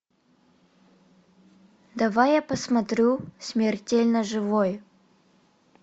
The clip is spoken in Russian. давай я посмотрю смертельно живой